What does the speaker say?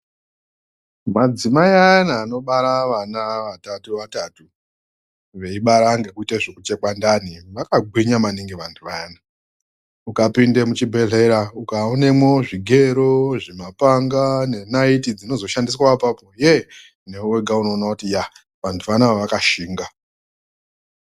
Madzimai ayana anobara vana vatatu vatatu veibata ngekuti zvekuchekwa ndani vakagwinya maningi vantu vayana, ukapinda muzvibhedhleya ukaonemwo zvigero, zvimapanga nenaiti dzinozoshandiswa apapo, ye-e! newe wega unoona kuti yaa vanthu vanava vakashinga.